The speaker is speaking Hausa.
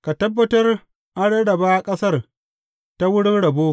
Ka tabbatar an rarraba ƙasar ta wurin rabo.